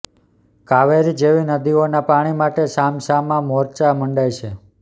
કાવેરી જેવી નદીઓના પાણી માટે સામસામા મોરચા મંડાય છે